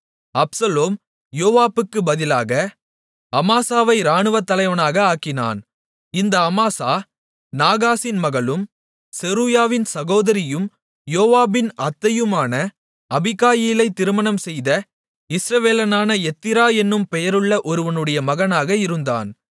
Absalom யோவாபுக்குப் பதிலாக அமாசாவை இராணுவத்தலைவனாக ஆக்கினான் இந்த அமாசா நாகாசின் மகளும் செருயாவின் சகோதரியும் யோவாபின் அத்தையுமான அபிகாயிலை திருமணம் செய்த இஸ்ரவேலனான எத்திரா என்னும் பெயருள்ள ஒருவனுடைய மகனாக இருந்தான்